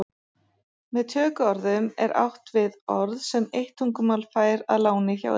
Með tökuorðum er átt við orð sem eitt tungumál fær að láni hjá öðru.